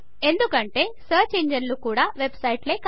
ఎందుకంటే సర్చ్ ఇంజన్లు కూడా వెబ్ సైట్లే కాబట్టి